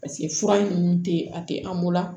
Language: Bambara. fura ninnu tɛ a tɛ an bolo